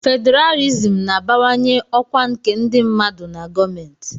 Fedralịsm na-abawanye ọkwa nke ndị mmadụ na gọọmentị.